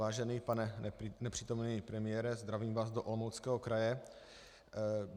Vážený pane nepřítomný premiére, zdravím vás do Olomouckého kraje.